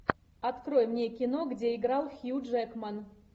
открой мне кино где играл хью джекман